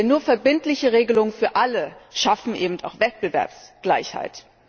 Denn nur verbindliche Regelungen für alle schaffen auch Wettbewerbsgleichheit.